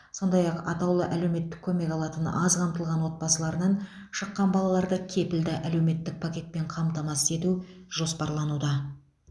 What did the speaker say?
сондай ақ атаулы әлеуметтік көмек алатын аз қамтылған отбасыларынан шыққан балаларды кепілді әлеуметтік пакетпен қамтамасыз ету жоспарлануда